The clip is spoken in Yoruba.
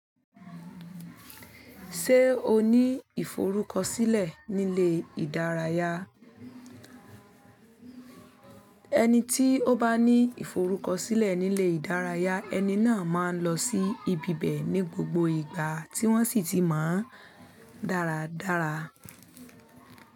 Ṣé o ní ìforúkọsílẹ̀ nílé ìdárayá? Ẹni tí ó bá ní ìforúkọsílẹ̀ nílé ìdárayá, ẹni náà máa ń lọ sí ibi bẹ̀ ní gbogbo ìgbà tí wọ́n sì ti máa ń dáradára.